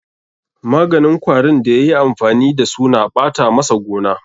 Maganin kwarin da ya yi amfani da su na ɓata masa gona.